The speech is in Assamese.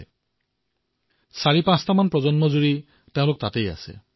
আজি চাৰিপাঁচটা প্ৰজন্ম তাতেই আছে